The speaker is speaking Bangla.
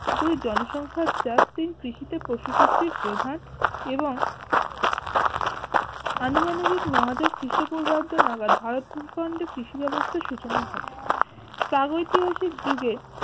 দুই জনসংখ্যার চার তিন কৃষি তে পশু শক্তির প্রধানএবং আনুমানবিক নয় হাজার খ্রিষ্টপূর্ব নাগাদ কৃষি ব্যাবস্থার সূচনা ঘটে প্রাগ ঐতিহাসিক যুগে